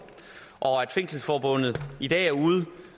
og at fængselsforbundet i dag er ude